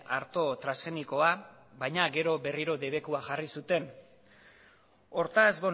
arto transgenikoa baina gero berriro debekua jarri zuten hortaz